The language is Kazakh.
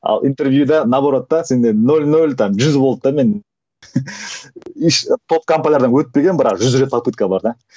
ал интервьюде наоборот та сенде нөл нөл там жүз болды да мен еш топ компаниялардан өтпегенмін бірақ жүз рет попытка бар да